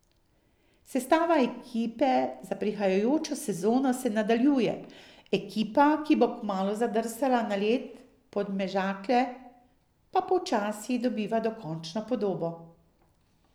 Sestava ekipe za prihajajočo sezono se nadaljuje, ekipa, ki bo kmalu zadrsala na led Podmežakle, pa počasi dobiva končno podobo.